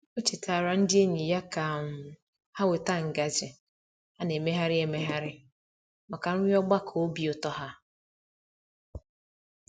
O chetaara ndị enyi ya ka um ha weta ngaji a na-emegharị emegharị maka nri ogbakọ obi ụtọ ha.